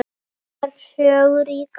Sjón er sögu ríkari